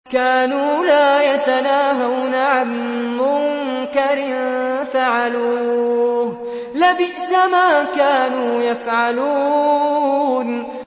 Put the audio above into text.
كَانُوا لَا يَتَنَاهَوْنَ عَن مُّنكَرٍ فَعَلُوهُ ۚ لَبِئْسَ مَا كَانُوا يَفْعَلُونَ